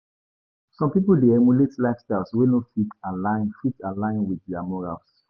Some pipo dey emulate lifestyles wey no fit align fit align with their morals.